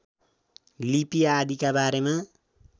लिपि आदिका बारेमा